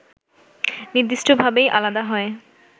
নির্দিষ্টভাবেই আলাদা হয়